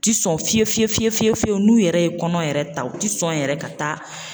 U ti sɔn fiye fiyewu fiye fiye fiyewu n'u yɛrɛ ye kɔnɔ yɛrɛ ta u ti sɔn yɛrɛ ka taa.